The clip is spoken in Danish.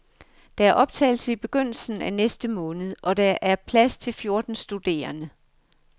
Der er optagelse i begyndelsen af næste måned, og der er plads til fjorten studerende.